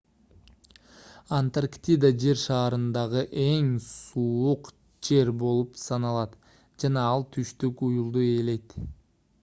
антарктида жер шарындагы эң суук жер болуп саналат жана ал түштүк уюлду ээлейт